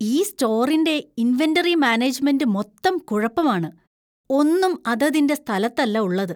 ഈ സ്റ്റോറിന്‍റെ inventory management മൊത്തം കുഴപ്പമാണ്. ഒന്നും അതതിന്‍റെ സ്ഥലത്തല്ല ഉള്ളത്.